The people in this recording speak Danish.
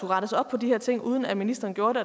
rettes op på de her ting uden at ministeren gjorde det